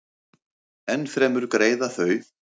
Ennfremur greiða þau